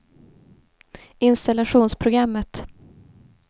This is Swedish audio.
installationsprogrammet